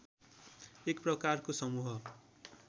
एक प्रकारको समूह